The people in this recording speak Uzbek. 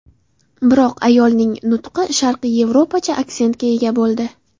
Biroq ayolning nutqi sharqiy Yevropacha aksentga ega bo‘ldi.